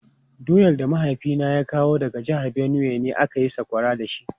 Doyar da mahaifina ya kawo daga jihar Benue ne aka yi sakwara da shi.